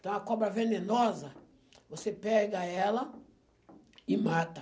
Então a cobra venenosa, você pega ela e mata.